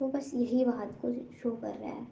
वो बस यही बात को शो कर रहा है।